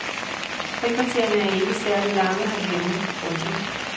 Frikvartererne er ikke særlig lange herhjemme. punktum